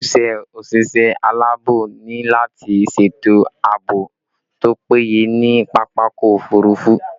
Ojúṣe òṣìṣẹ́ alaabo ni lati ṣètò àbò tó péye ní pápákọ̀ òfurufú